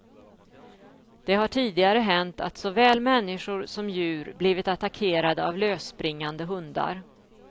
Det har tidigare hänt att såväl människor som djur blivit attackerade av lösspringande hundar.